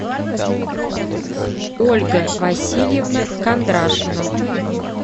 ольга васильевна кондрашина